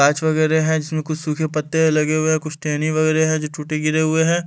आच वगैरह है जिसमें कुछ सूखे पत्ते लगे हुए हैं कुछ टेनी वगैरह है जो टूटे गिरे हुए हैं‍।